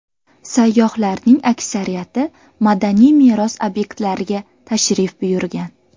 Sayyohlarning aksariyati madaniy meros obyektlariga tashrif buyurgan.